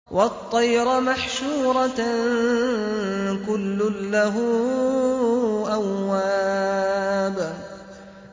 وَالطَّيْرَ مَحْشُورَةً ۖ كُلٌّ لَّهُ أَوَّابٌ